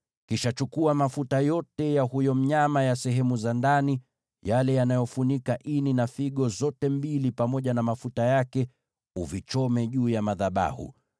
Kisha chukua mafuta yote ya huyo mnyama ya sehemu za ndani, yale yanayofunika ini, figo zote mbili pamoja na mafuta yake, uviteketeze juu ya madhabahu.